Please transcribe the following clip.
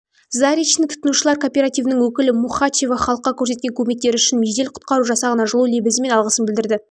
заречный тұтынушылар кооперативінің өкілі мухачева халыққа көрсеткен көмектері үшін жедел-құтқару жасағына жылу лебізі мен алғысын білдіреді